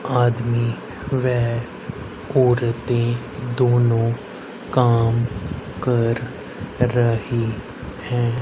आदमी वे औरते दोनों काम कर रही हैं।